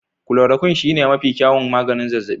Chloroquine shine mafi kyawun maganin zazzabi.